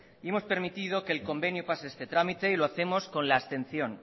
y hemos permitido que el convenio pase este trámite y lo hacemos con la abstención